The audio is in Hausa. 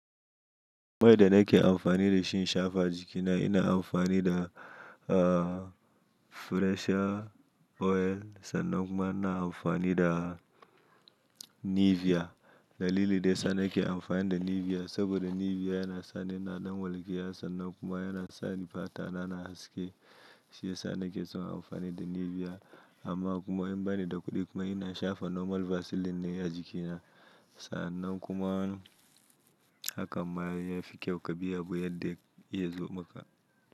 Mai da nake amfani da shi in shafa a jikina, ina amfani da Fresher oil sannan kuma ina amfani da Nivea. Dalili da sane ke amfani da Nivea saboda Nivea yana sa ni na ɗan walƙiya sannan kuma yana sa ni fata na na haske. Shi ya sa nakeson amfani da Nivea amma kuma in bani da kuɗi kuma ina shafa normal vaseline ne a jikina sannan kuma hakan ma ai ya fi kyau ka bi abu yanda yazo maka.